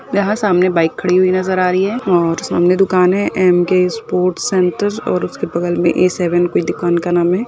यहाँ सामने बाइक खड़ी हुई नजर आ रही है और सामने दुकान है एमके स्पोर्ट्स सेंटर और उसके बगल मे ए सेवन कोई दुकान का नाम है।